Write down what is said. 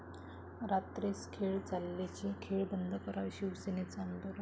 रात्रीस खेळ चाले'चे 'खेळ' बंद करा, शिवसेनेचं आंदोलन